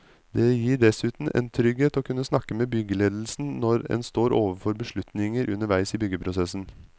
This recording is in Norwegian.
Det gir dessuten en trygghet å kunne snakke med byggeledelsen når en står overfor beslutninger underveis i byggeprosessen.